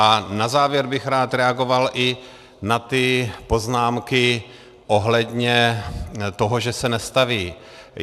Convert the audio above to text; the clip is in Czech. A na závěr bych rád reagoval i na ty poznámky ohledně toho, že se nestaví.